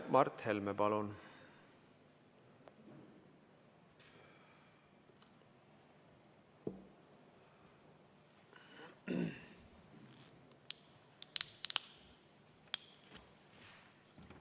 Mart Helme, palun!